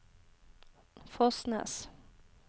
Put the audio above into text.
Fosnes